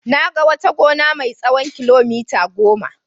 Na ga wata gona mai tsawon kilomita goma.